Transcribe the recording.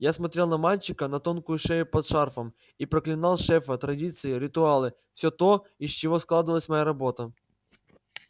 я смотрел на мальчика на тонкую шею под шарфом и проклинал шефа традиции ритуалы всё то из чего складывалась моя работа